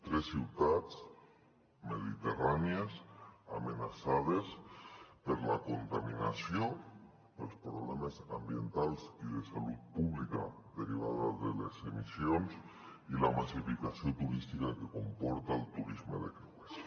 tres ciutats mediterrànies amenaçades per la contaminació pels problemes ambientals i de salut pública derivats de les emissions i la massificació turística que comporta el turisme de creuers